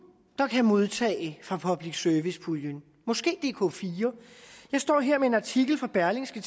der kan modtage fra public service puljen måske dk4 jeg står her med en artikel fra berlingske